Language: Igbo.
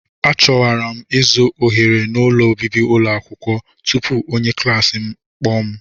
A chọwara m ịzụ ohere n'ụlọ obibi ụlọ akwụkwọ tupu onye klaasị m akpọọ m.